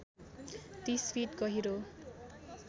३० feet गहिरो